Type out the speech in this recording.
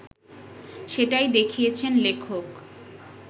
সেটাই দেখিয়েছেন লেখক